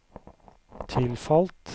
tilfalt